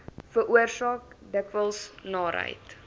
veroorsaak dikwels naarheid